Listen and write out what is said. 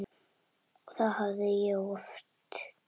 Það hafði ég oft gert.